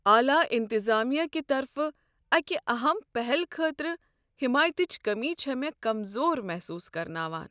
اعلی انتظامیہ کہ طرفہٕ اکہ اہم پہل خٲطرٕ حمایتچ کمی چھ مےٚ کمزور محسوس کرناوان۔